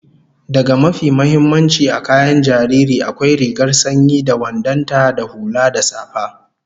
Daga mafi muhimmanci a kayan jariri, akwai rigar sanyi da wandon ta da hula da safa